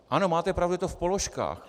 Ano, máte pravdu, je to v položkách.